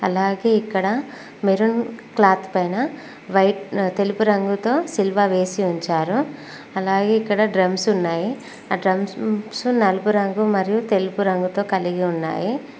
అలాగే ఇక్కడ maroon cloth పైన వైట్ తెలుపు రంగుతో సిలువ వేసి ఉంచారు అలాగే ఇక్కడ డ్రమ్స్ ఉన్నాయి ఆ డ్రమ్స్ నలుపు మరియు తెలుపు రంగుతో కలిపి ఉన్నాయి.